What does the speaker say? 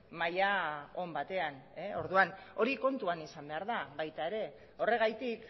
maila on batean orduan hori kontuan izan behar da baita ere horregatik